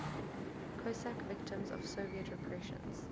cossack victims of soviet repressions